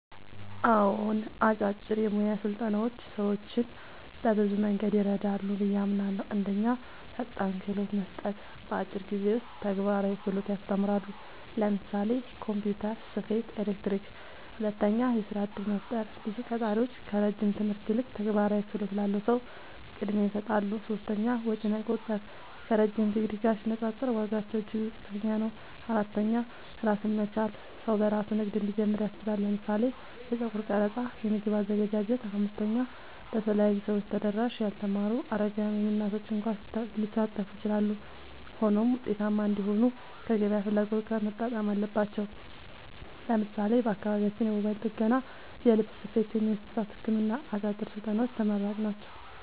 አዎን፣ አጫጭር የሙያ ስልጠናዎች ሰዎችን በብዙ መንገድ ይረዳሉ ብዬ አምናለሁ፦ 1. ፈጣን ክህሎት መስጠት – በአጭር ጊዜ ውስጥ ተግባራዊ ክህሎት ያስተምራሉ (ለምሳሌ ኮምፒውተር፣ ስፌት፣ ኤሌክትሪክ)። 2. የሥራ እድል መፍጠር – ብዙ ቀጣሪዎች ከረጅም ትምህርት ይልቅ ተግባራዊ ክህሎት ላለው ሰው ቅድሚያ ይሰጣሉ። 3. ወጪ መቆጠብ – ከረዥም ዲግሪ ጋር ሲነጻጸር ዋጋቸው እጅግ ዝቅተኛ ነው። 4. ራስን መቻል – ሰው በራሱ ንግድ እንዲጀምር ያስችላል (ለምሳሌ የጸጉር ቀረጻ፣ የምግብ አዘገጃጀት)። 5. ለተለያዩ ሰዎች ተደራሽ – ያልተማሩ፣ አረጋውያን፣ ወይም እናቶች እንኳ ሊሳተፉ ይችላሉ። ሆኖም ውጤታማ እንዲሆኑ ከገበያ ፍላጎት ጋር መጣጣም አለባቸው። ለምሳሌ በአካባቢያችን የሞባይል ጥገና፣ የልብስ ስፌት፣ ወይም የእንስሳት ሕክምና አጫጭር ስልጠናዎች ተመራጭ ናቸው።